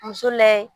Muso layɛ